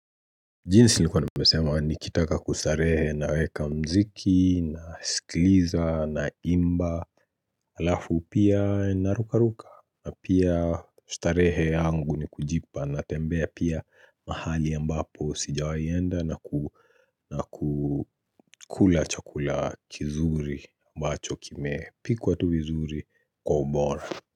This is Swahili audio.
Jinsi nilivyosema, nikitaka kustarehe naweka muziki, nasikiliza, naimba alafu pia narukaruka. Pia starehe yangu ni kujipa. Natembea pia mahali ambapo sijawahi enda na kukula chakula kizuri ambacho kimepikwa vizuri kwa ubora.